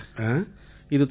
அப்புறம் இன்னொரு விஷயம்யா